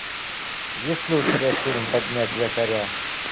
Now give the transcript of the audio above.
есть ли у тебя фильм поднять якоря